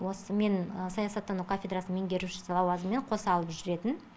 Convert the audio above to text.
осы мен саясаттану кафедрасының меңгерушісі лауазымымен қоса алып жүретін